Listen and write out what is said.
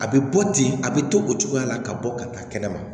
A bɛ bɔ ten a bɛ to o cogoya la ka bɔ ka taa kɛnɛ ma